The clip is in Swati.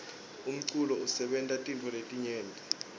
umculo usebenta tintfo letinyenti